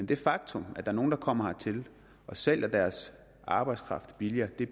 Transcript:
det faktum at nogle der kommer hertil og sælger deres arbejdskraft billigere